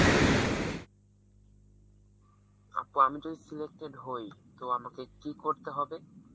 আপু আমি যদি selected হই তো আমাকে কি করতে হবে?